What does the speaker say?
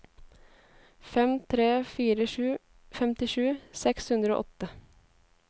fem tre fire sju femtisju seks hundre og åtte